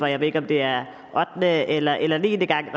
jeg ved ikke om det er ottende eller eller niende gang